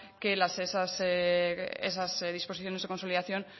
que esas disposiciones de consolidación